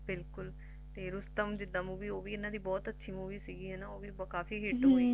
ਬਿਲਕੁਲ ਤੇ Rustom ਜਿੱਦਾ Movie ਓਹ ਵੀ ਇਹਨਾਂ ਦੀ ਬਹੁਤ ਅੱਛੀ Movie ਸੀਗੀ ਹੈਨਾ ਓਹ ਵੀ ਕਾਫੀ Hit ਹੋਈ